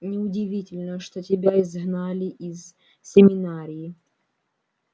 неудивительно что тебя изгнали из семинарии